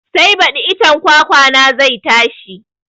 Sai baɗi icen kwakwa na zai tashi